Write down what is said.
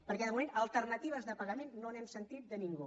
perquè de moment d’alternatives de pagament no n’hem sentit de ningú